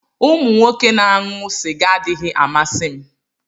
Umu Nwoke na-aṅụ sịga adịghị amasị m